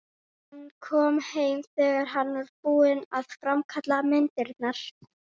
Hann kom heim þegar hann var búinn að framkalla myndirnar.